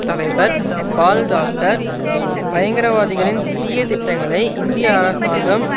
தலைவர் பால் தாக்கர் பயங்கரவாதிகளின் தீய திட்டங்களை இந்திய அரசாங்கம்